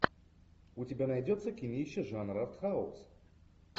у тебя найдется кинище жанр артхаус